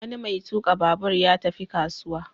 Wani mai tuƙa babur ya tafi kasuwa.